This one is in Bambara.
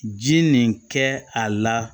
Ji nin kɛ a la